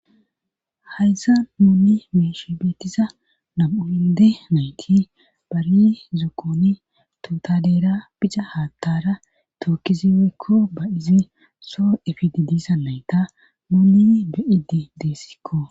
hayssa nuni meesh beetisa nam7umide nayti bari zookoni totadeera bica haattara tookkisi weykko ba izi soo efididisa layta moonni bi7idi deessikko